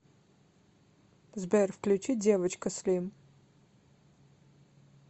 сбер включи девочка слим